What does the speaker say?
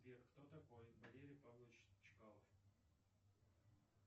сбер кто такой валерий павлович чкалов